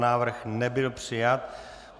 Návrh nebyl přijat.